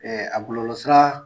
Ɛɛ a bololɔsira